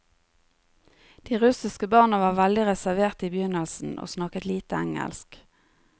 De russiske barna var veldig reserverte i begynnelsen og snakket lite engelsk.